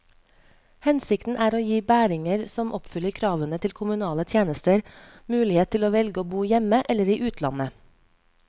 Hensikten er å gi bæringer som oppfyller kravene til kommunale tjenester, mulighet til å velge å bo hjemme eller i utlandet.